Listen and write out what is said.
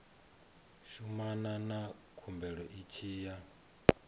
shumana na khumbelo tshi ya